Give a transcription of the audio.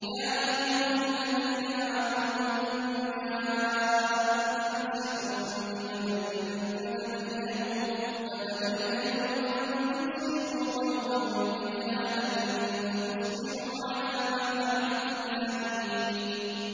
يَا أَيُّهَا الَّذِينَ آمَنُوا إِن جَاءَكُمْ فَاسِقٌ بِنَبَإٍ فَتَبَيَّنُوا أَن تُصِيبُوا قَوْمًا بِجَهَالَةٍ فَتُصْبِحُوا عَلَىٰ مَا فَعَلْتُمْ نَادِمِينَ